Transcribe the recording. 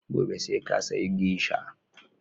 Gobe sai ka sayi Geisha!